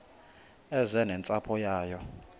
eze nentsapho yayo